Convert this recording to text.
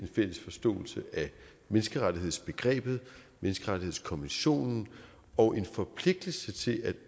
fælles forståelse af menneskerettighedsbegrebet menneskerettighedskonventionen og en forpligtelse til at